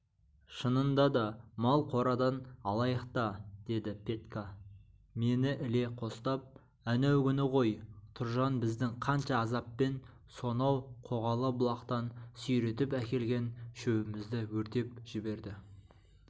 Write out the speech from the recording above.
шынында да мал қорадан алайық та деді петька мені іле қостап әнеугүні ғой тұржан біздің қанша азаппен сонау қоғалы бұлақтан сүйретіп әкелген шөбімізді өртеп жіберді